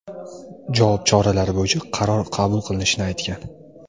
javob choralari bo‘yicha qaror qabul qilinishini aytgan.